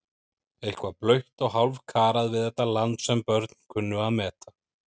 Eitthvað blautt og hálfkarað við þetta land sem börn kunnu að meta.